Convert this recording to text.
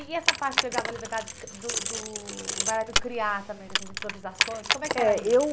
E essa parte que ele dava a liberdade do do do bailarino criar também dessas improvisações, como é que era isso?